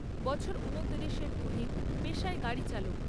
বছর উনতিরিশ এর তুহিন পেশায় গাড়ি চালক।